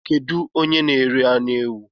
Kedu onye n:ere anụ ewụ?